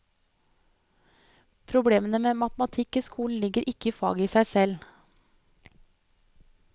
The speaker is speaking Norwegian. Problemene med matematikk i skolen ligger ikke i faget i seg selv.